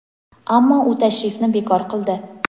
ammo u tashrifni bekor qildi.